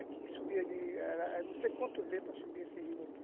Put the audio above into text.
Aqui subia de, era não sei quantos para subir esse rio aqui.